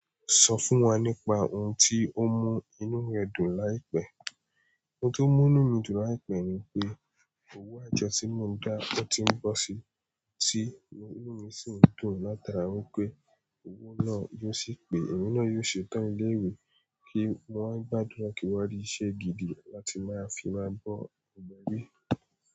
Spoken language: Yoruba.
Sọ fún wa nípa ohun tí ó mú inú rẹ dùn láìpẹ́. Ohun tó mú inú mi dùn láìpẹ́ ni pé owó àjọ tí mo ń dá ọtí ń bọ́ sí i, tí inú mi sì ń dùn látara wípé owó náà yóò sì pé ẹ̀mí náà yóò ṣetán ilé ìwé, kí mo wà ń gbàdúrà kí wá rí isẹ́ gidi láti máa fi máa bọ́ gbogbo ẹbí.